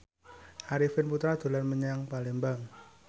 Arifin Putra dolan menyang Palembang